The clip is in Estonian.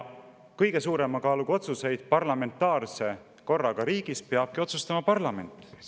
Kõige suurema kaaluga otsuseid parlamentaarse korraga riigis peabki otsustama parlament.